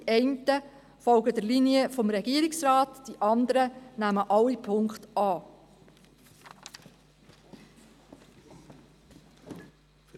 Die einen folgen der Linie des Regierungsrates, die anderen nehmen alle Punkte an.